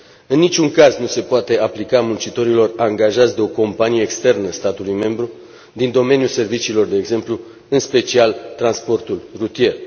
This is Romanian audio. În niciun caz nu se poate aplica muncitorilor angajați de o companie externă statului membru, din domeniul serviciilor, de exemplu, în special transportul rutier.